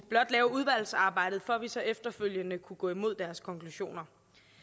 lave udvalgsarbejdet for at vi så efterfølgende kunne gå imod deres konklusioner